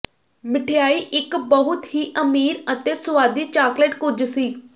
ਮਿਠਆਈ ਇੱਕ ਬਹੁਤ ਹੀ ਅਮੀਰ ਅਤੇ ਸੁਆਦੀ ਚਾਕਲੇਟ ਕੁਝ ਸੀ